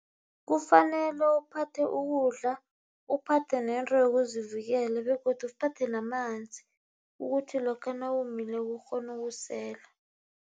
Kufanele uphathe ukudla, uphathe nento yokuzivikela begodu uphathe namanzi ukuthi lokha nawomileko ukghone ukusela.